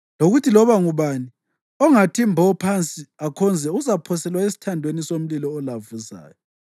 lokuthi loba ngubani ongathi mbo phansi akhonze uzaphoselwa esithandweni somlilo olavuzayo.